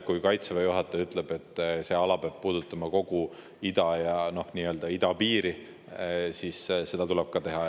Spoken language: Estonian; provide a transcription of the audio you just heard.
Kui Kaitseväe juhataja ütleb, et see peab puudutama kogu idapiiri ala, siis seda tuleb ka teha.